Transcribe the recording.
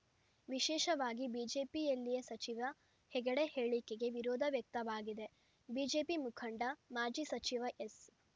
ವಿಶೇಷವಾಗಿ ಬಿಜೆಪಿಯಲ್ಲಿಯೇ ಸಚಿವ ಹೆಗಡೆ ಹೇಳಿಕೆಗೆ ವಿರೋಧ ವ್ಯಕ್ತವಾಗಿದೆ ಬಿಜೆಪಿ ಮುಖಂಡ ಮಾಜಿ ಸಚಿವ ಎಸ್‌